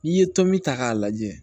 N'i ye tomi ta k'a lajɛ